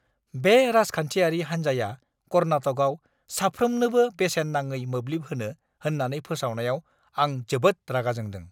बे राजखान्थियारि हानजाया कर्नाटकआव साफ्रोमनोबो बेसेन नाङै मोब्लिब होनो होन्नानै फोसावनायाव आं जोबोद रागा जोंदों।